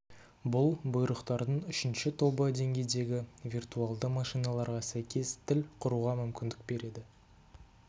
бұл бұйрықтардың үшінші тобы деңгейдегі виртуалды машиналарға сәйкес тіл құруға мүмкіндік береді